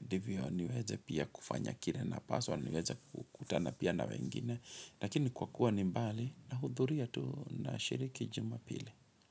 ndivyo niweze pia kufanya kire na paswa, niweza kutana pia na wengine. Lakini kwa kuwa ni mbali, nahudhuria tu na shiriki jumapili.